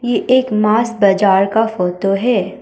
यह एक मांस बाजार का फोटो है।